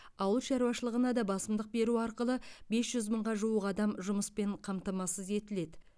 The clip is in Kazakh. ауыл шаруашылығына да басымдық беру арқылы бес жүз мыңға жуық адам жұмыспен қамтамасыз етіледі